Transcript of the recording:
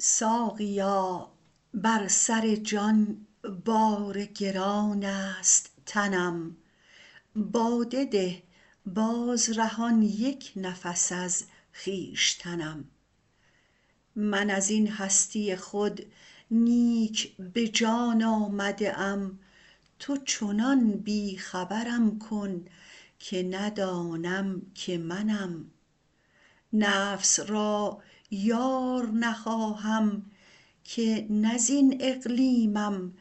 ساقیا بر سر جان بار گران است تنم باده ده باز رهان یک نفس از خویشتنم من از این هستی خود نیک به جان آمده ام تو چنان بی خبرم کن که ندانم که منم نفس را یار نخواهم که نه زین اقلیمم